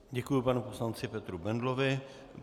Děkuji panu poslanci Petru Bendlovi.